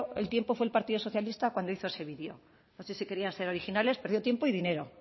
el tiempo fue el partido socialista cuando hizo ese vídeo no sé si querían ser originales perdió tiempo y dinero